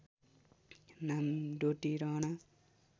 नाम डोटी रहन